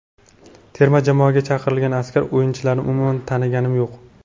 Terma jamoaga chaqirilgan aksar o‘yinchilarni umuman taniganim yo‘q.